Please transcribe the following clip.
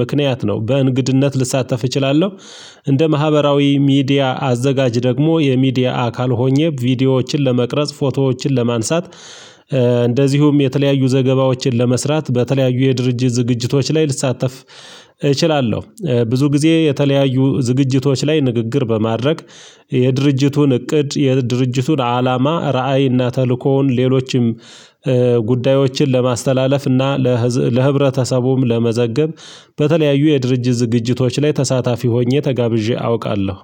ምክንያት ነው በእንግድነት ልሳተፍ እችላለሁ። እንደ ማህበራዊ ሚዲያ አዘጋጅ ደግሞ የሚዲያ አካል ሆኜ ቪዲዮዎችን ለመቅረጽ ፎቶዎችን ለማንሳት። እንደዚሁም የተለያዩ ዘገባዎችን ለመስራት በተለያዩ የድርጅት ዝግጅቶች ላይ ልሳተፍ እችላለሁ። ብዙ ጊዜ የተለያዩ ዝግጅቶች ላይ ንግግር በማድረግ የድርጅቱን እቅድ የድርጅቱን አላማ ራዕይ እና ተልእኮውን ሌሎችም ጉዳዮችን ለማስተላለፍ። እና ለህብረተሰቡም ለመዘገብ። በተለያዩ የድርጅት ዝግጅቶች ላይ ተሳታፊ ሆኜ ተጋብዤ አውቃለሁ።